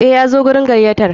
Eh, Yazo wurin gayyatar.